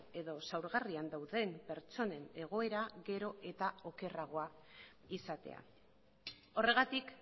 edo zaurgarrian dauden pertsonen egoera gero eta okerragoa izatea horregatik